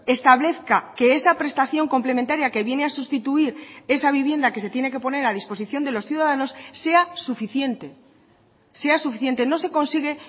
establezca que esa prestación complementaria que viene a sustituir esa vivienda que se tiene que poner a disposición de los ciudadanos sea suficiente sea suficiente no se consigue